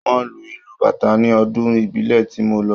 Wọ́n lu ìlù Bàtá ní ọdún ìbílẹ̀ tí mo lọ